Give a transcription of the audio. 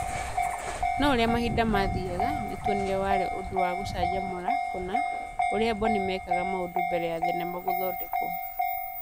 No ũrĩa mahinda maathiaga, nĩ twonire atĩ warĩ ũndũ wa gũcanjamũra kũna ũrĩa Boni mekaga maũndu mbere ya thenema gũthondekwo.